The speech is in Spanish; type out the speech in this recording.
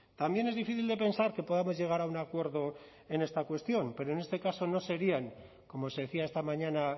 también es difícil de pensar que podamos llegar a un acuerdo en esta cuestión pero en este caso no serían como se decía esta mañana